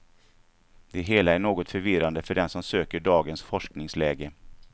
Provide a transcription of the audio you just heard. Det hela är något förvirrande för den som söker dagens forskningsläge.